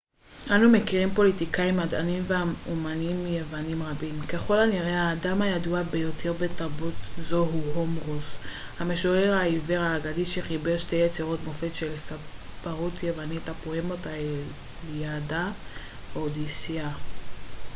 אנו מכירים פוליטיקאים מדענים ואמנים יוונים רבים ככל הנראה האדם הידוע ביותר בתרבות זו הוא הומרוס המשורר העיוור האגדי שחיבר שתי יצירות מופת של ספרות יוונית הפואמות האיליאדה והאודיסיאה